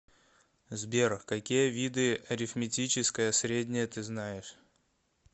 сбер какие виды арифметическое среднее ты знаешь